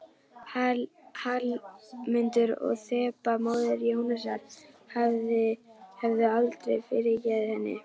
Hallmundur og Þeba, móðir Jónasar, hefðu aldrei fyrirgefið henni.